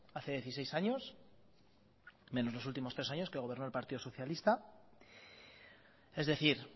hace dieciséis años menos los últimos tres años que gobernó el partido socialista es decir